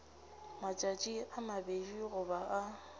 matšatši a mabedi goba a